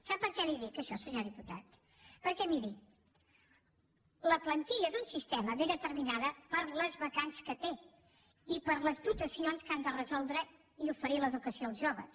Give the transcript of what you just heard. sap per què li ho dic això senyor diputat perquè miri la plantilla d’un sistema és determinada per les vacants que té i per les dotacions que han de resoldre i oferir l’educació als joves